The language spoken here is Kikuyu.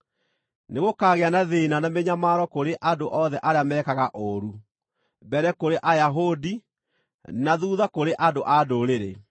Nĩgũkaagĩa na thĩĩna na mĩnyamaro kũrĩ andũ othe arĩa mekaga ũũru; mbere kũrĩ Ayahudi, na thuutha kũrĩ andũ-a-Ndũrĩrĩ;